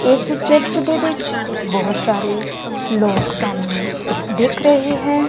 ਇਸ ਚਰਚ ਦੇ ਵਿੱਚ ਬਹੁਤ ਸਾਰੇ ਲੋਕ ਸਾਨੂੰ ਦਿੱਖ ਰਹੇ ਹੈਂ।